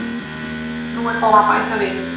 Nú er bara að bæta við.